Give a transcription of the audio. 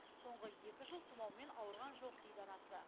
соңғы екі жыл тұмаумен ауырған жоқ дейді анасы